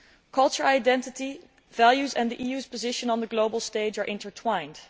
Cultural identity, values and the EU's position on the global stage are intertwined.